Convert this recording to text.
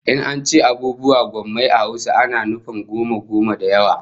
In an ce abubuwa gommai a Hausa ana nufin goma goma da yawa